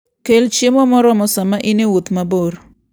Kel chiemo moromo sama in e wuoth mabor.